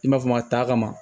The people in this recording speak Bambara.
I m'a fɔ a ta kama